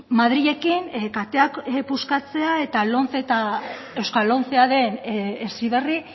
madrilekin kateak puskatzea eta lomce eta euskal lomcea den heziberri